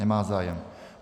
Nemá zájem.